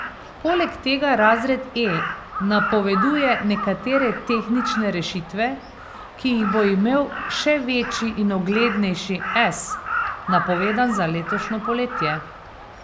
Poleg tega razred E napoveduje nekatere tehnične rešitve, ki jih bo imel še večji in uglednejši S, napovedan za letošnje poletje.